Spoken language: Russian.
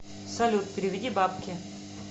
салют переведи бабки